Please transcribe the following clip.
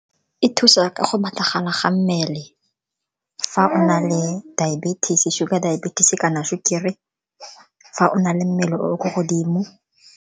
E thusa ka go batlagala ga mmele, fa o na le diabetes, sugar diabetes kana sukiri, fa o na le mmele o o ko godimo.